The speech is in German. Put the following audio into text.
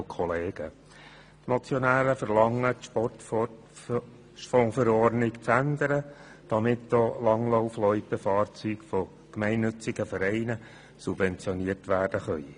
Die Motionäre verlangen, die Sportfondsverordnung zu ändern, damit auch Langlaufloipen-Fahrzeuge von gemeinnützigen Vereinen subventioniert werden können.